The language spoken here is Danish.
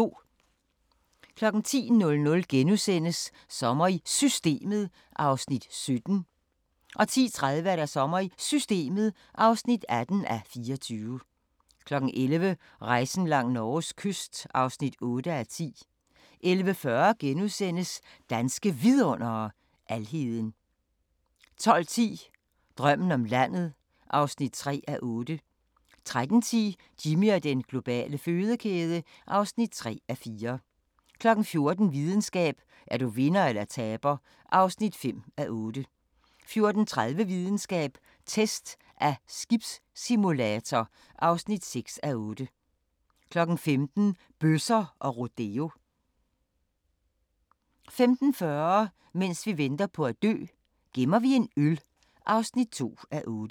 10:00: Sommer i Systemet (17:24)* 10:30: Sommer i Systemet (18:24) 11:00: Rejsen langs Norges kyst (8:10) 11:40: Danske Vidundere: Alheden * 12:10: Drømmen om landet (3:8) 13:10: Jimmy og den globale fødekæde (3:4) 14:00: Videnskab: Er du vinder eller taber (5:8) 14:30: Videnskab: Test af skibssimulator (6:8) 15:00: Bøsser og rodeo 15:40: Mens vi venter på at dø - gemmer vi en øl (2:8)